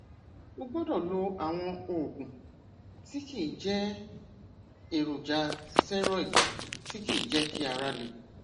o gbọdọ lo àwọn oògùn tí kìí jẹ èròjà steroid tí kìí jẹ kí ara le